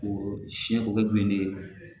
O siyɛn o kɛ bilennen ye